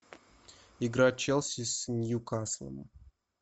игра челси с ньюкаслом